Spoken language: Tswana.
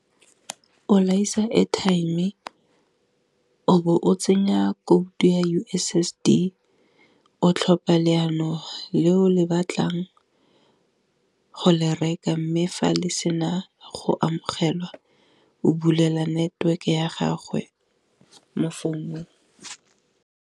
O laisa airtime-e o be o tsenya code ya U_S_S_D o tlhopha le ya noge, le o le batlang go le reka mme fa le sena go amogelwa o bulela network-e ya gagwe mo founung.